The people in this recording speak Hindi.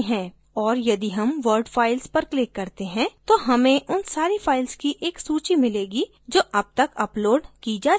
और यदि हम word files पर click करते हैं तो हमें उन सारी files की एक सूची मिलेगी जो अब तक uploaded की जा चुकी हैं